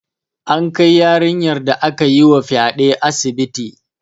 An kai yarinyar da aka yi wa fyaɗe asibiti